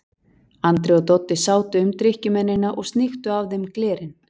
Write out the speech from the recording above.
Andri og Doddi sátu um drykkjumennina og sníktu af þeim glerin.